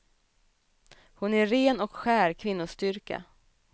Hon är ren och skär kvinnostyrka.